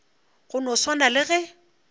go no swana le ge